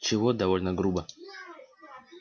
чего довольно грубо